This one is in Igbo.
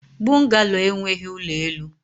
Bungalo enweghị ụlọ elu.